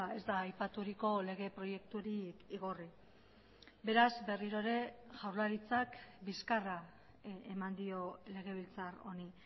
ez da aipaturiko lege proiekturik igorri beraz berriro ere jaurlaritzak bizkarra eman dio legebiltzar honi